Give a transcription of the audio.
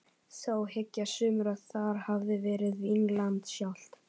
Þó hyggja sumir að þar hafi verið Vínland sjálft.